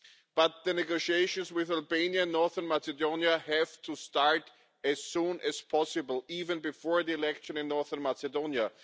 But the negotiations with Albania and Northern Macedonia have to start as soon as possible, even before the election in Northern Macedonia.